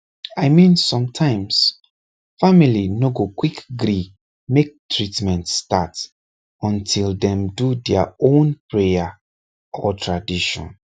i mean sometimes family no go quick gree make treatment start until dem do their own prayer or tradition